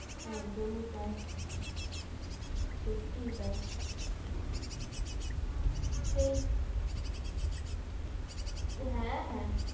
একদমই তাই, সত্যি তাই, সেই হ্যা হ্যা